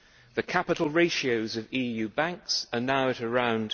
The capital ratios of EU banks are now at around